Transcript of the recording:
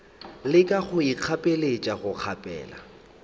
leka go ikgapeletša go kgaphela